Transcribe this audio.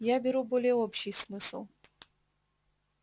я беру более общий смысл